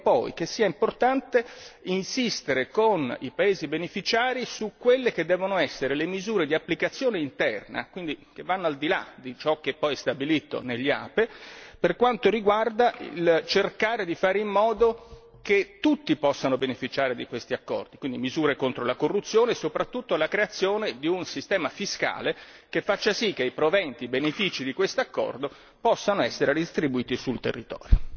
Credo poi che sia importante insistere con i paesi beneficiari su quelle che devono essere le misure di applicazione interna quindi che vanno al di là di ciò che poi è stabilito negli APE per quanto riguarda il cercare di fare in modo che tutti possano beneficiare di questi accordi, quindi misure contro la corruzione e soprattutto la creazione di un sistema fiscale che faccia sì che i proventi e i benefici di questo accordo possano essere distribuiti sul territorio.